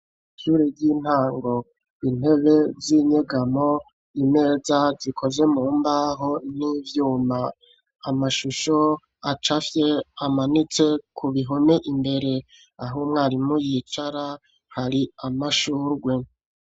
Ishure ry'intango, intebe z'inyegamo ,imeza zikoze mu mbaho n'ivyuma amashusho acafye amanitse ku bihome imbere ,aho umwarimu yicara hari amashurwe.